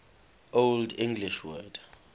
old english word